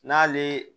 N'ale